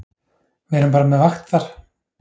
Við erum bara með vakt þar.